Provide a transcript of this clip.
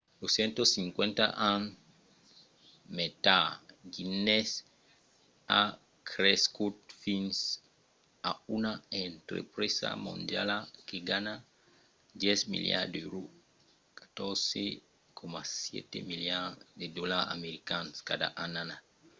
250 ans mai tard guinness a crescut fins a una entrepresa mondiala que ganha 10 miliards d’èuros 14,7 miliards de dolars americans cada annada